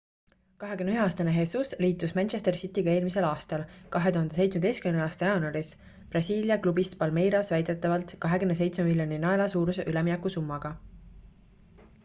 21-aastane jesus liitus manchester cityga eelmisel aastal 2017 aasta jaanuaris brasiilia klubist palmeiras väidetavalt 27 miljoni naela suuruse üleminekusummaga